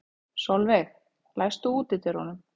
Solveig, læstu útidyrunum.